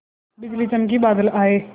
बिजली चमकी बादल आए